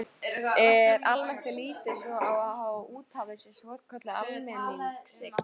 Almennt er litið svo á að úthafið sé svokölluð almenningseign.